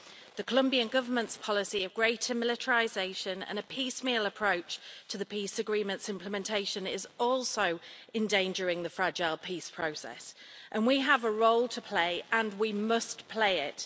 The Colombian Government's policy of greater militarisation and a piecemeal approach to the peace agreement's implementation is also endangering the fragile peace process, and we have a role to play and we must play it.